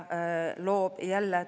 Neid organisatsioone oli 14.